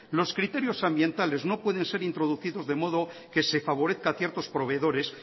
los criterios ambientales no pueden ser introducidos de modo que se favorezca a ciertos proveedores